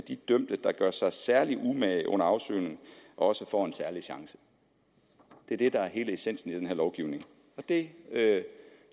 dømte der gør sig særlig umage under afsoningen også får en særlig chance det er det der er hele essensen i den her lovgivning det det